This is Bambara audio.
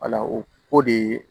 o ko de ye